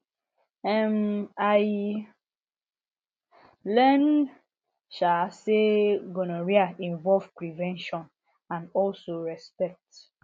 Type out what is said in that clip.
um i learn um say gonorrhea involve prevention and also respect